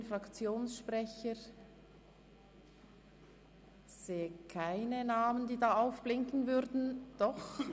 Gibt es Fraktionssprecherinnen beziehungsweise Fraktionssprecher?